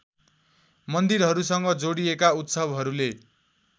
मन्दिरहरूसँग जोडिएका उत्सवहरूले